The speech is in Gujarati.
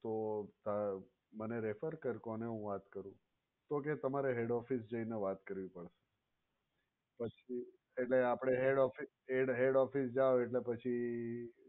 તો મને refer કર કોને હું વાત કરું? તો કહે તમારે head office જઈને વાત કરવી પડશે. પછી એટલે આપણે head office જાવ એટલે પછી